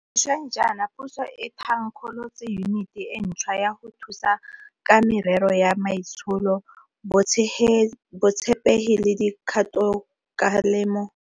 Sešweng jaana puso e tha nkgolotse Yuniti e ntšhwa ya go Thusa ka Merero ya Maitsholo, Botshepegi le Di kgatokgalemo tsa Badiri mo Tsamaisong ya Puso.